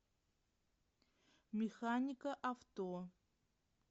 механика авто